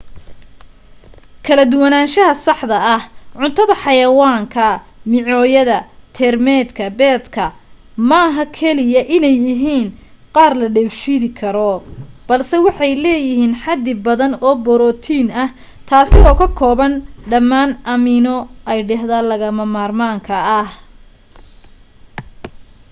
kala duwanaansha saxda ee cuntada xayawaanka micooyada teermaydka beedka maaha kaliya inay yihiin qaar la dheefshiidi karo balse waxay leeyihiin xadi badan oo borotiin ah taasi oo ka kooban dhamaan amino aydhiidhada lagama maarmaanka ah